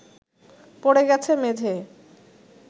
পড়ে গেছে মেঝেয়